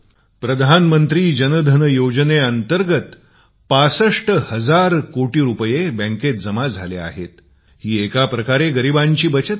प्रधानमंत्री जन धन योजने अंतर्गत ६५ हजार करोड रुपये बँकेत जमा आहेत ही एका प्रकारे गरिबांची बचत आहे